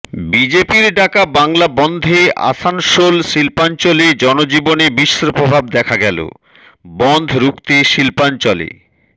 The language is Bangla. বিজেপির ডাকা বাংলা বন্ধে আসানসোল শিল্পাঞ্চলে জনজীবনে মিশ্র প্রভাব দেখা গেল বন্ধ রুখতে শিল্পাঞ্চলে